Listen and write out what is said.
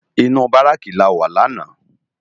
Inú báráki láwá làná